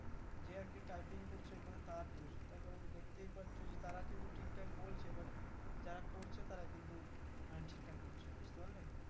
যে আরকি typing করছে ওখানে তার দোষ তার কারণ দেখতে পারছো তারা কিন্তু ঠিকঠাক বলছে but যারা করছে তারা কিন্তু মানে ঠিকঠাক করছে না বুঝতে পারলে